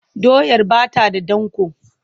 Doyar ba ta da danƙo.